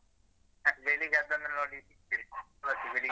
ಬೆಳಿಗ್ಗೆ ಅದನ್ನು ನೋಡಿ ಮತ್ತೆ ಬೆಳಿಗ್ಗೇ